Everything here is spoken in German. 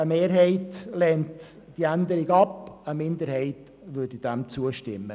Eine Mehrheit lehnt die Änderung ab, eine Minderheit würde dieser zustimmen.